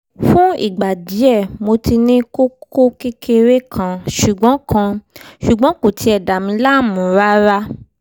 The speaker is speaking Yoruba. fún ìgbà díẹ̀ mo ti ní kókó kékeré kan ṣùgbọ́n kan ṣùgbọ́n kò tiẹ̀ dà mí láàmú rárá